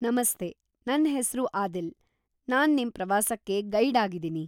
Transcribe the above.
ನಮಸ್ತೆ, ನನ್‌ ಹೆಸ್ರು ಆದಿಲ್‌, ನಾನ್‌ ನಿಮ್ ಪ್ರವಾಸಕ್ಕೆ ಗೈಡ್‌ ಆಗಿದೀನಿ.